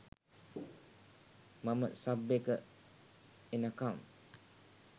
මම සබ් එක එනකම්